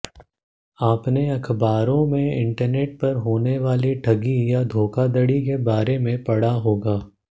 आपने अखबारों में इंटरनेट पर होनी वाली ढगी या धोखाधड़ी के बारे पढ़ा होगा